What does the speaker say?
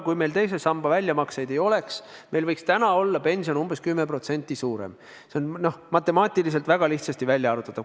Kui meil teise samba väljamakseid ei oleks, võiks pension olla umbes 10% suurem – see on matemaatiliselt väga lihtsasti välja arvutatav.